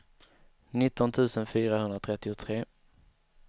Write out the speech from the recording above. nitton tusen fyrahundratrettiotre